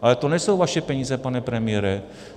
- Ale to nejsou vaše peníze, pane premiére.